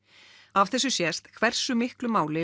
af þessu sést hversu miklu máli